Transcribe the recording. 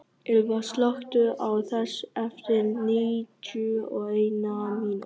Ylva, slökktu á þessu eftir níutíu og eina mínútur.